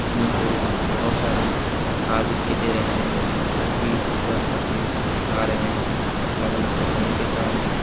में से बहोत सारे कार दिखाई दे रहे हैं क्योंकि तरह तरह के कार हैं अलग अलग कंपनी के कार है।